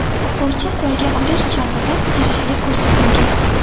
O‘quvchi qo‘lga olish chog‘ida qarshilik ko‘rsatmagan.